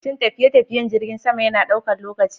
Shin tafiye-tafiyen jirgin sama yana ɗaukar lokaci?